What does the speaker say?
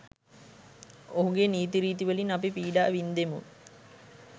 ඔහුගේ නීතිරීති වලින් අපි පීඩා වින්දෙමු.